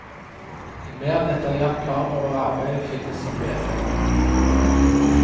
En mer detaljert plan over arbeidet finnes som vedlegg.